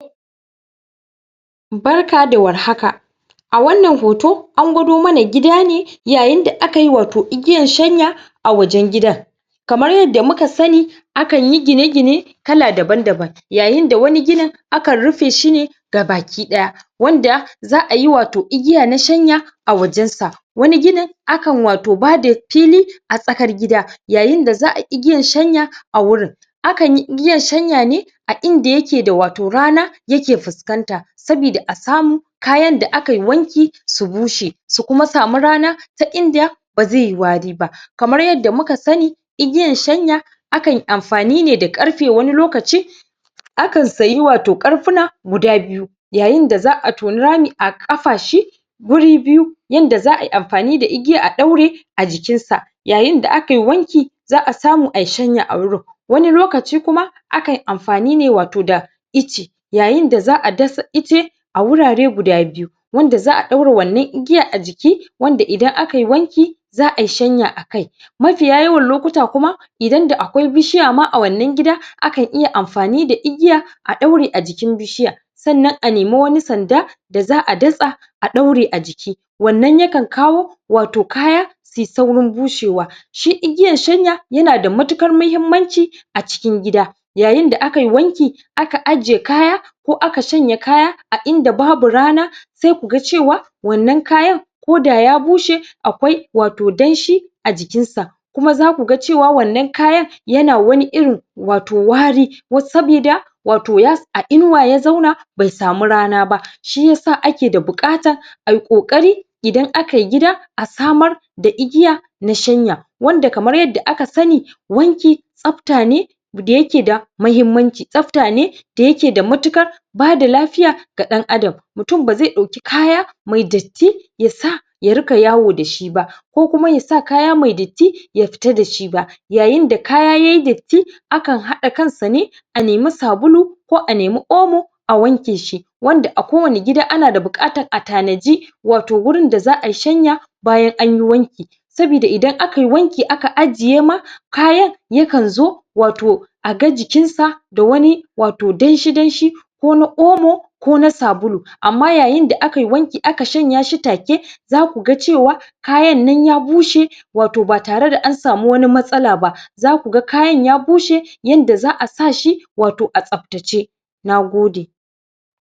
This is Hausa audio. barka da warhaka a wannan hoto, an gwado mana gida ne yayin yayin da yanda aka yi watau igiya shanya a wajen gida kamar yadda muka sani akanyi gine gine kala daban daban yayin da wani ginin akan rufe shi ne gabakidaya wanda, za'a ayi watau igiya na shanya a wajen sa, wani ginin akan watau ba da fili asakar gida